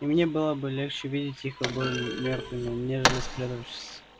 и мне было бы легче увидеть их обоих мёртвыми нежели спрятавшимися здесь у себя под крышей